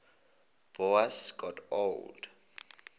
boas got older